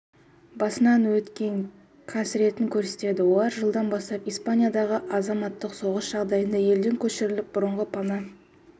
басынан өткен қасіретін көрсетеді олар жылдан бастап испаниядағы азаматтық соғыс жағдайында елден көшіріліп бұрынғы пана